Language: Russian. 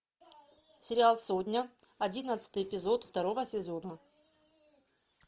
сериал сотня одиннадцатый эпизод второго сезона